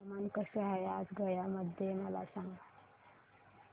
हवामान कसे आहे आज गया मध्ये मला सांगा